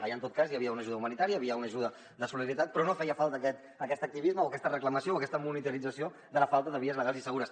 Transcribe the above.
allà en tot cas hi havia una ajuda humanitària hi havia una ajuda de solidaritat però no feia falta aquest activisme o aquesta reclamació o aquesta monitorització de la falta de vies legals i segures